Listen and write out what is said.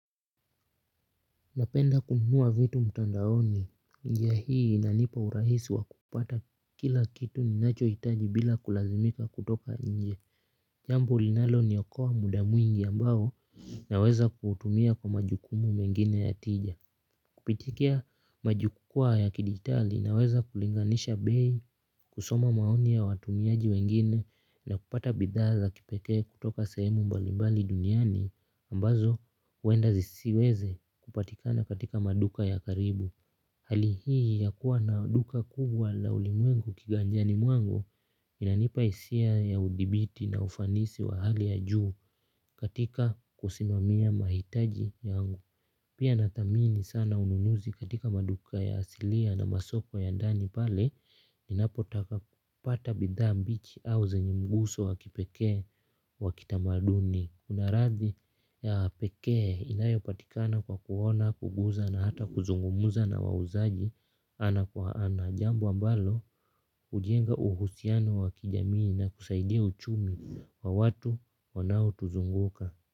Napenda kununua vitu mtandaoni njia hii inanipa urahisi wa kupata kila kitu ninacho itaji bila kulazimika kutoka inje. Jambo linaloniokoa muda mwingi ambao naweza kuutumia kwa majukumu mengine ya tija. Kupitikia majukwaa ya kidigitali naweza kulinganisha bei kusoma maoni ya watumiaji wengine na kupata bidhaa za kipekee kutoka sehemu mbalimbali duniani ambazo uenda zisiweze kupatikana katika maduka ya karibu. Hali hii ya kuwa na duka kubwa la ulimwengu kiganjani mwangu. Inanipa isia ya udibiti na ufanisi wa hali ya juu katika kusimamia mahitaji yangu. Pia natamini sana ununuzi katika maduka ya asilia na masoko ya dani pale ninapo taka kupata bidhaa mbichi au zenye mguso wakipekee wa kitamaduni. Kuna rathi ya pekee inayo patikana kwa kuona, kuguza na hata kuzungumuza na wawuzaji ana kwa ana. Jambo ambalo hujenga uhusiano wa kijamii na kusaidia uchumi wa watu wanao tuzunguka.